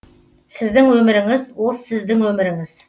сіздің өміріңіз ол сіздің өміріңіз